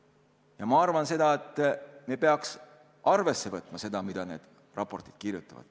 Ja ma arvan, et me peaks arvesse võtma seda, mida need raportid kirjutavad.